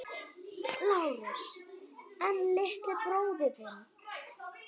LÁRUS: En litli bróðir þinn?